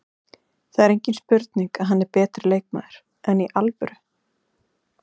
Það er engin spurning að hann er betri leikmaður, enn í alvöru?